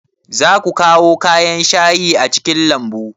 Za ku kawo kayan shayi a cikin lambun?